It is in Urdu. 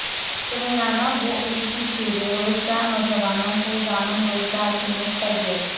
تلنگانہ و اے پی کے بیروزگار نوجوانوں کو ضامن روزگار کی مفت تربیت